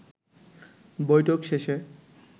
বৈঠক শেষে